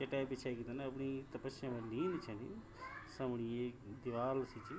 चटै बिछे की कन अपणी तपस्या मा लीन छन समणी एक दिवाल सी च।